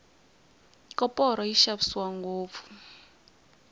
koporo yi xavisiwa ngopfu